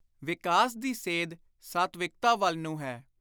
ਵਿਕਾਸ ਦੀ ਸੇਧ ਸਾਤਵਿਕਤਾ ਵੱਲ ਨੂੰ ਹੈ।